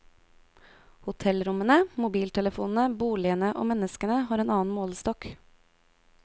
Hotellrommene, mobiltelefonene, boligene og menneskene har en annen målestokk.